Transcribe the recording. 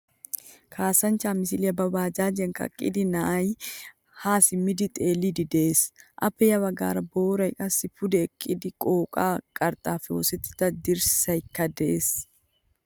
Kasanchchaa misilyaa ba baajjajiyan kaqqida na'ay ha simmidi xeelidi de'ees. Appe ya baggaara booray qassi pude eqqida qooqqay, qarxxappe oosettida dirssaykka de'ees.